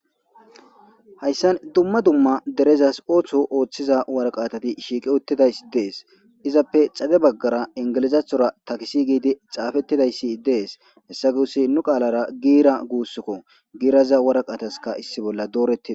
Haysan Dumma dumma waraqatayi derezasi ootho oothizaysi shiqi utidaysi Izappe xade bagara ingilizathora Tax gid xafetidaysi Des. Hessa guusi nu qalara giira guusuko giraza waraqataka issi bolla doreti Des